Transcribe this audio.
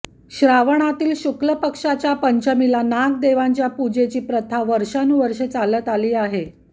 श्रावणातील शुक्लपक्षाची पंचमीला नागदेवांच्या पूजेची प्रथा वर्षानुवर्षे चालत आली आहे